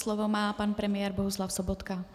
Slovo má pan premiér Bohuslav Sobotka.